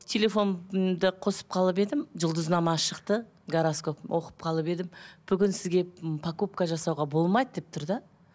телефонымды қосып қалып едім жұлдызнама шықта гороскоп оқып қалып едім бүгін сізге м покупка жасауға болмайды деп тұр да